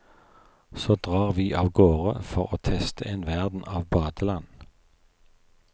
Så drar vi av gårde for å teste en verden av badeland.